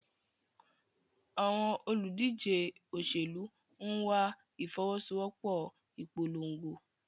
Àwọn olùdíje òṣèlú ń wá ìfọwọ́sowọ́pọ̀ ìpolongo.